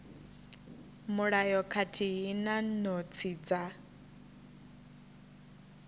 mulayo khathihi na notsi dza